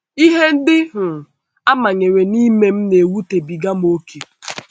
Ihe ndị um a manyere m ime na - ewutebiga m ókè. ”